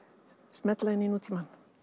smella inn í nútímann